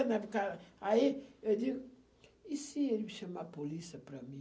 na época. Aí eu digo, e se eles me chamarem de polícia para mim?